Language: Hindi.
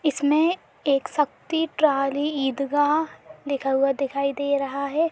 इसमें एक शक्ति ट्राली ईदगाह लिखा हुआ दिखाई दे रहा है।